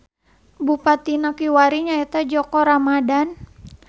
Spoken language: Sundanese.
Bupatina kiwari nyaeta Djoko Ramadhan.